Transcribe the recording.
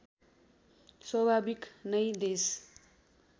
स्वाभाविक नै देश